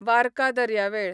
वार्का दर्यावेळ